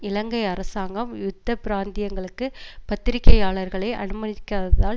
இலங்கை அரசாங்கம் யுத்த பிராந்தியங்களுக்கு பத்திரிகையாளர்களை அனுமதிக்காததால்